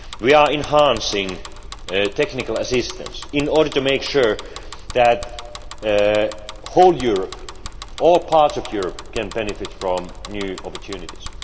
We are enhancing technical assistance in order to make sure that the whole of Europe, all parts of Europe, can benefit from new opportunities.